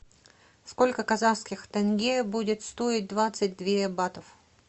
сколько казахских тенге будет стоить двадцать две батов